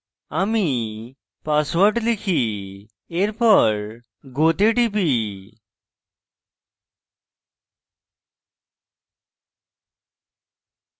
আমি পাসওয়ার্ড লিখি এরপর go তে টিপি